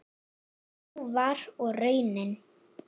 Sú var og raunin.